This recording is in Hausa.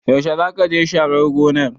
Yaushe zakaje sharar gonar?